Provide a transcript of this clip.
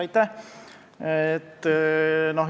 Aitäh!